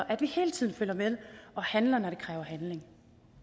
at vi hele tiden følger med og handler når det kræver handling